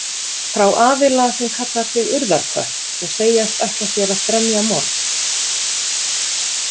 Frá aðila sem kallar sig Urðarkött og segjast ætla sér að fremja morð.